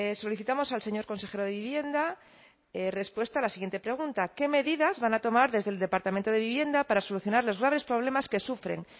solicitamos al señor consejero de vivienda respuesta a la siguiente pregunta qué medidas van a tomar desde el departamento de vivienda para solucionar los graves problemas que sufren